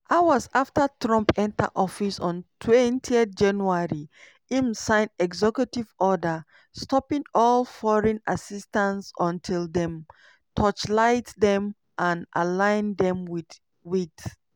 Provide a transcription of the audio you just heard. hours afta trump enta office ontwentyjanuary im sign executive order stopping all foreign assistance until dem torchlight dem and align dem wit wit